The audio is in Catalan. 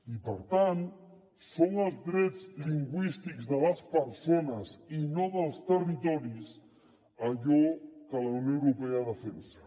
i per tant són els drets lingüístics de les persones i no dels territoris allò que la unió europea defensa